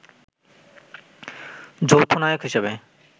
যৌথ নায়ক হিসেবে